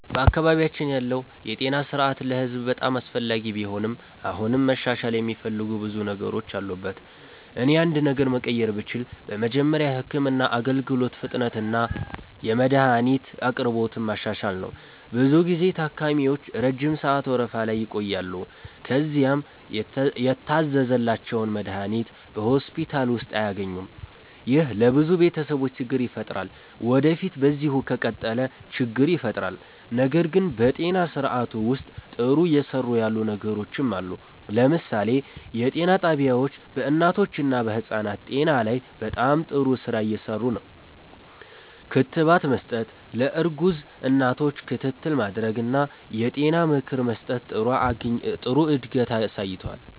በአካባቢያችን ያለው የጤና ስርዓት ለህዝብ በጣም አስፈላጊ ቢሆንም አሁንም መሻሻል የሚፈልጉ ብዙ ነገሮች አሉበት። እኔ አንድ ነገር መቀየር ብችል በመጀመሪያ የህክምና አገልግሎት ፍጥነትንና የመድሀኒት አቅርቦትን ማሻሻል ነው። ብዙ ጊዜ ታካሚዎች ረጅም ሰዓት ወረፋ ላይ ይቆያሉ፣ ከዚያም የታዘዘላቸውን መድሀኒት በሆስፒታል ውስጥ አያገኙም። ይህ ለብዙ ቤተሰቦች ችግር ይፈጥራል ወዴፊት በዚሁ ከቀጠለ ችግር ይፈጥራል። ነገር ግን በጤና ስርዓቱ ውስጥ ጥሩ እየሰሩ ያሉ ነገሮችም አሉ። ለምሳሌ የጤና ጣቢያዎች በእናቶችና በህፃናት ጤና ላይ በጣም ጥሩ ስራ እየሰሩ ነው። ክትባት መስጠት፣ ለእርጉዝ እናቶች ክትትል ማድረግ እና የጤና ምክር መስጠት ጥሩ እድገት አሳይቷል።